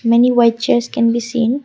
many white chairs can be seen.